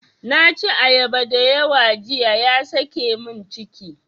Na ci ayaba dayawa jiya ya sake mun ciki.